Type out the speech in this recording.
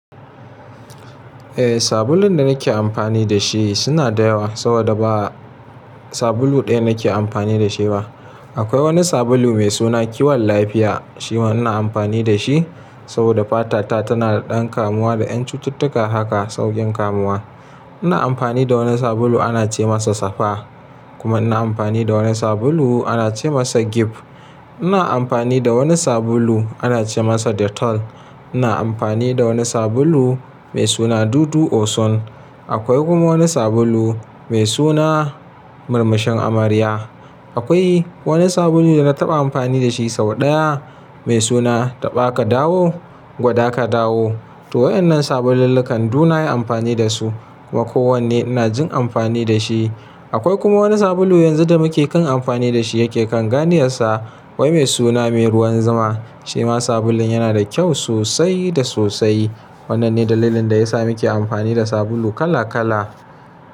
Eh, sabulun da nake amfani da shi suna da yawa, saboda ba sabulu ɗaya nake amfani da shi ba. Akwai wani sabulu mai suna Kiwon Lafiya, shi ma ina amfani da shi saboda fatata tana da ɗan kamuwa da ƴan cututtuka haka sauƙin kamuwa. Ina amfani da wani sabulu ana ce masa Safa, kuma ina amfani da wani sabulu ana ce masa Gift. Ina amfani da wani sabulu ana ce masa Dettol. Ina amfani da wani sabulu mai suna Dudu Osun. Akwai kuma wani sabulu mai suna Murmushen Amarya. Akwai wani sabulu da na taɓa amfani da shi sau ɗaya mai suna Taɓa Ka Dawo, gwada ka dawo. To waɗannan sabulullukan duk na yi amfani da su kuma kowanne ina jin amfani da shi. Akwai kuma wani sabulu yanzu da muke kan amfani da shi yake kan gani yasa, wai mai suna Mai Ruwan Zama. Shi ma sabulun yana da kyau sosai da sosai. Waɗannan ne dalilin da yasa muke amfani da sabulu kala kala.